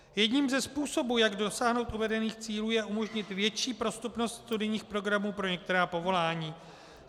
Jedním ze způsobů, jak dosáhnout uvedených cílů, je umožnit větší prostupnost studijních programů pro některá povolání.